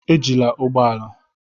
Ejila ụgbọ ala.